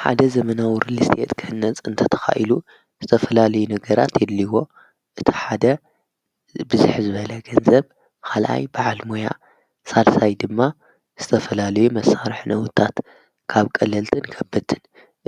ሓደ ዘመናዊ ርልስጢአት ክህነጽ እንተ ተኻኢሉ ዝተፈላለይ ነገራት የድሊዎ እቲ ሓደ ብዙኅ ዝበለ ገንዘብ ኻላይ በዓል ሞያ ሣልሳይ ድማ ዝተፈላለይ መሠርሕ ነዉታት ካብ ቀለልጥን ከብትን